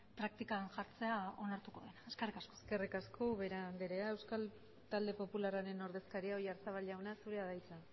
praktikan jartzea onartuko dena eskerrik asko eskerrik asko ubera andrea euskal talde popularraren ordezkaria oyarzabal jauna zurea da hitza